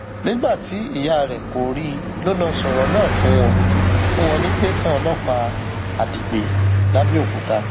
nígbà tí ìyá rẹ kò rí i ló lọọ sọrọ náà fún wọn fún wọn ní tẹsán ọlọpàá adigbe lápẹọkúta